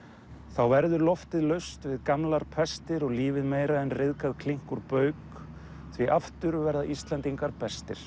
þá verður loftið laust við gamlar pestir og lífið meira en ryðgað klink úr bauk því aftur verða Íslendingar bestir